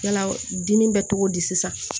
Yala dimi bɛ cogo di sisan